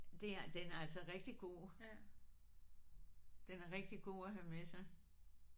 Det er den er altså rigtig god. Den er rigtig god at have med sig